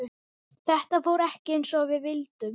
Þetta fór ekki eins og við vildum.